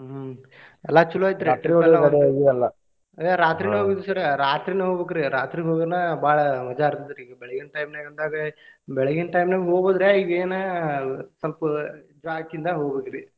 ಹ್ಮ್ ಎಲ್ಲಾ ಚೊಲೋ ಐತ್ರಿ ಏ ರಾತ್ರಿನ ಹೋಗಿದ್ದು sir ರಾತ್ರಿನ ಹೊಗ್ಬೇಕ್ರಿ ರಾತ್ರಿ ಹೋದ್ರನ ಬಾಳ ಮಜಾ ಇರ್ತೆತ್ರಿ ಈಗ ಬೆಳಗಿನ time ನ್ಯಾಗ ಅಂದಾಗ ಬೆಳಗಿನ time ನ್ಯಾಗು ಹೋಗ್ಬಹುದ್ರಿ ಈಗ ಏನ ಸ್ವಲ್ಪ ಇದಾಕಿಂದ ಹೊಗ್ಬೇಕ್ರಿ.